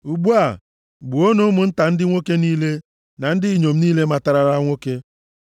Ugbu a, gbuonụ ụmụnta ndị nwoke niile, na ndị inyom niile matarala nwoke.